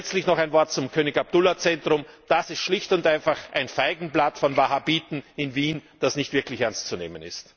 Letztlich noch ein Wort zum König Abdullah Zentrum Das ist schlicht und einfach ein Feigenblatt von Wahhabiten in Wien, das nicht wirklich ernst zu nehmen ist.